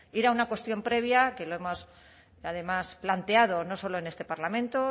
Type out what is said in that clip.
ir una cuestión previa que lo hemos además planteado no solo en este parlamento